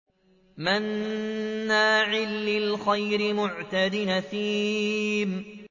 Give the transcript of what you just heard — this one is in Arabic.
مَّنَّاعٍ لِّلْخَيْرِ مُعْتَدٍ أَثِيمٍ